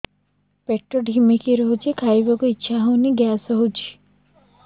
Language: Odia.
ପେଟ ଢିମିକି ରହୁଛି ଖାଇବାକୁ ଇଛା ହଉନି ଗ୍ୟାସ ହଉଚି